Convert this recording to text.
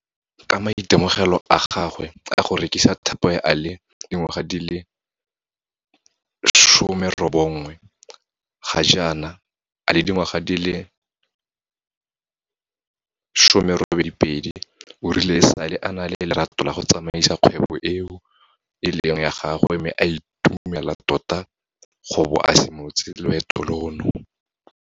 Ka maitemogelo a gagwe a go rekisa Tupperware a le dingwaga di le 19, ga jaana a le dingwaga di le 28 o rile e sale a na le lerato la go tsamaisa kgwebo eo e leng ya gagwe mme o itumela tota go bo a simolotse loeto lono.